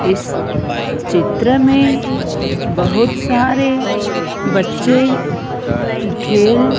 इस चित्र में बहुत सारे बच्चे खेल--